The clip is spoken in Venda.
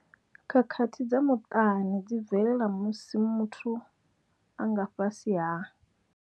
Khakhathi dza muṱani dzi bvelela musi muthu a nga fhasi ha.